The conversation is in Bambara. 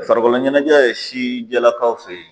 Farikolo ɲɛnajɛ ye sijɛlakaw fɛ ye